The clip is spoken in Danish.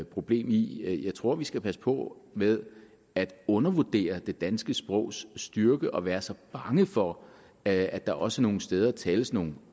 problem i jeg tror vi skal passe på med at undervurdere det danske sprogs styrke og være så bange for at der også nogle steder tales nogle